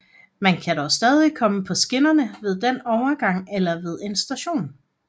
Man kan dog stadig komme på skinnerne ved en overgang eller ved en station